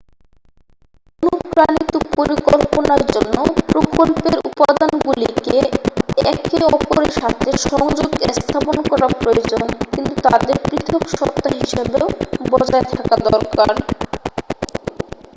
অনুপ্রাণিত পরিকল্পনার জন্য প্রকল্পের উপাদানগুলিকে একে অপরের সাথে সংযোগ স্থাপন করা প্রয়োজন কিন্তু তাদের পৃথক সত্ত্বা হিসাবেও বজায় থাকা দরকার